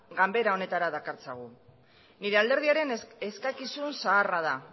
ganbara honetara dakartzagu nire alderdiaren eskakizun zaharra da